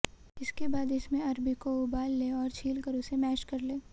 इसके बाद इसमें अरबी को उबाल लें और छीलकर इसे मैश कर लें